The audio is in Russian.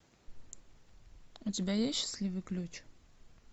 у тебя есть счастливый ключ